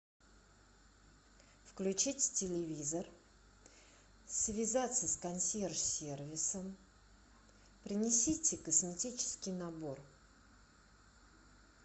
включить телевизор связаться с консьерж сервисом принесите косметический набор